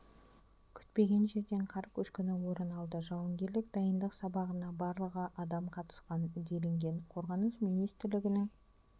күтпеген жерден қар көшкіні орын алды жауынгерлік дайындық сабағына барлығы адам қатысқан делінген қорғаныс министрлігінің